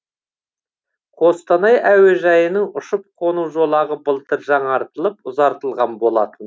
қостанай әуежайының ұшып қону жолағы былтыр жаңартылып ұзартылған болатын